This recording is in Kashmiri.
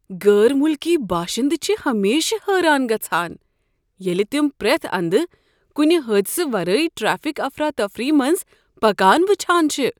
غٲر مُلکی باشندٕ چھِ ہمیشہٕ حٲران گژھان ییٚلہ تَم پریتھ اندٕ كُنہِ حٲدِشہٕ ورٲیی ٹریفک افراتفری منٛز پكان وٕچھان چھِ۔